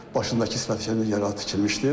Başındakı, sifətindəki yara tikilmişdir.